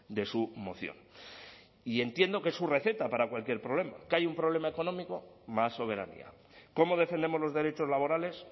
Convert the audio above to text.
de su moción y entiendo que es su receta para cualquier problema que hay un problema económico más soberanía cómo defendemos los derechos laborales